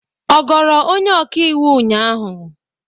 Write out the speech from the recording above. Ọ goro onye ọka iwu ụnyahụ?